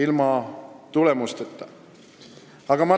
– üks PR-trikk.